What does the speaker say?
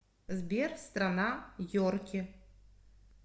сбер страна йорки